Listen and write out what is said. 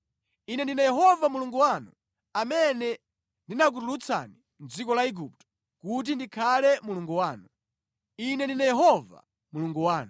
Ine ndine Yehova Mulungu wanu, amene ndinakutulutsani mʼdziko la Igupto kuti ndikhale Mulungu wanu. Ine ndine Yehova Mulungu wanu.’ ”